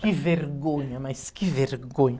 Que vergonha, mas que vergonha.